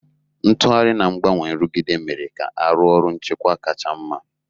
Ntughari na ngbanwe nrụgide mere ka arụ ọru nchekwa kacha mma.